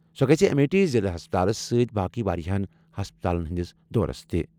سۄ گژھِ امیٹھی ضِلعہٕ ہسپتالَس سۭتۍ باقٕے واریٛاہَن ہسپتالَن ہنٛدس دورس تہِ ۔